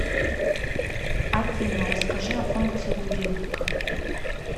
афина расскажи о функции будильника